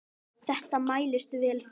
Þetta mælist vel fyrir.